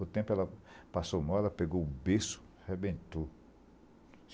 O tempo ela passou mal, ela pegou o berço, arrebentou.